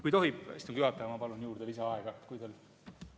Kui tohib, istungi juhataja, ma palun juurde lisaaega!